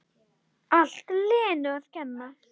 Allt Lenu að kenna!